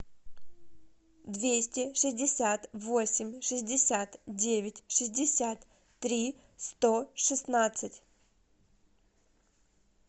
двести шестьдесят восемь шестьдесят девять шестьдесят три сто шестнадцать